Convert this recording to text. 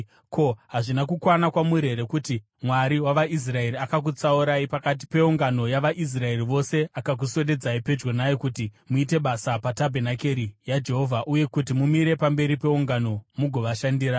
Ko, hazvina kukwana kwamuri here kuti Mwari wavaIsraeri akakutsaurai pakati peungano yavaIsraeri vose akakuswededzai pedyo naye kuti muite basa patabhenakeri yaJehovha uye kuti mumire pamberi peungano mugovashandira?